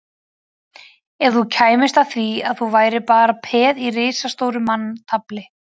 Ef þú kæmist að því að þú værir bara peð í risastóru manntafli